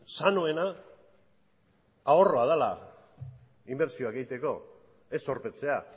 sanoena ahorroa dela inbertsioak egiteko ez zorpetzea